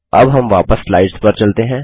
अब हम वापस स्लाइड्स पर चलते हैं